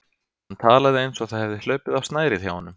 Hann talaði eins og það hefði hlaupið á snærið hjá honum.